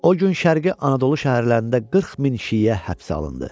O gün Şərqi Anadolu şəhərlərində 40 min şiə həbs olundu.